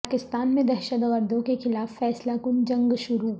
پاکستان میں دہشت گردوں کے خلاف فیصلہ کن جنگ شروع